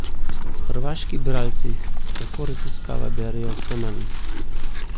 Hrvaški bralci, tako raziskava, berejo vse manj.